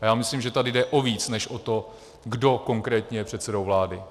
A já myslím, že tady jde o více než o to, kdo konkrétně je předsedou vlády.